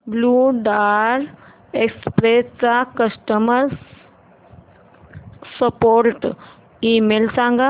blue Dart Express चा customer support email सांग